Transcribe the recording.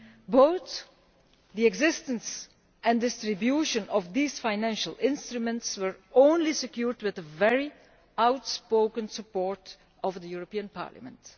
Both the existence and the distribution of these financial instruments were only secured with the very outspoken support of the European Parliament.